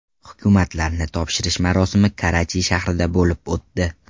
Hukumatlarni topshirish marosimi Karachi shahrida bo‘lib o‘tdi.